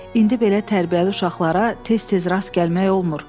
İndi belə tərbiyəli uşaqlara tez-tez rast gəlmək olmur.